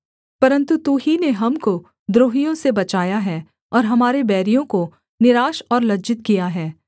परन्तु तू ही ने हमको द्रोहियों से बचाया है और हमारे बैरियों को निराश और लज्जित किया है